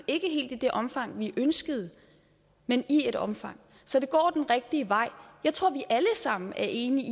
ikke helt i det omfang vi ønskede men i et omfang så det går den rigtige vej jeg tror vi alle sammen er enige